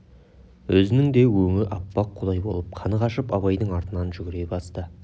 өзінің де өңі аппақ қудай болып қаны қашып абайдың артынан жүгіре басты